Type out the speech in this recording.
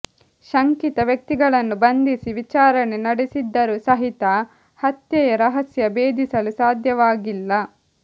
ಶಂಕಿತ ವ್ಯಕ್ತಿಗಳನ್ನು ಬಂಧಿಸಿ ವಿಚಾರಣೆ ನಡೆಸಿದ್ದರು ಸಹಿತ ಹತ್ಯೆಯ ರಹಸ್ಯ ಭೇದಿಸಲು ಸಾಧ್ಯವಾಗಿಲ್ಲ